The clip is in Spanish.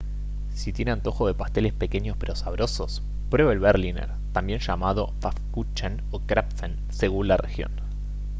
si tiene antojo de pasteles pequeños pero sabrosos pruebe el berliner también llamado pfannkuchen o krapfen según la región